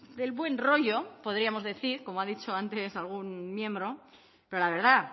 del buen rollo podríamos decir como ha dicho antes algún miembro pero la verdad